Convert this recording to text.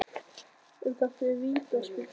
En var þetta vítaspyrna?